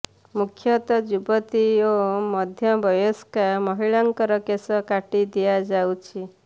ମୁଖ୍ୟତଃ ଯୁବତୀ ଓ ମଧ୍ୟବୟସ୍କା ମହିଳାଙ୍କର କେଶ କାଟି ଦିଆଯାଉଛି